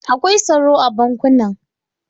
Akwai tsaro a bankunan.